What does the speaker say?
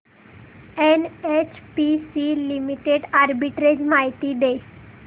NHPC limited arbitrage माहिती दे